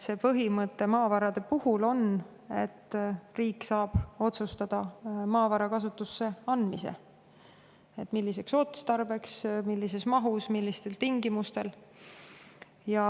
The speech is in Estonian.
Maavarade puhul on põhimõte, et riik saab otsustada maavara kasutusse andmise – et milliseks otstarbeks, millises mahus, millistel tingimustel.